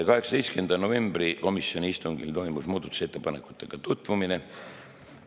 18. novembri komisjoni istungil toimus muudatusettepanekutega tutvumine.